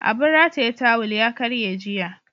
Abin rataye tawul ya karye jiya.